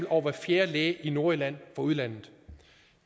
over hver fjerde læge i nordjylland fra udlandet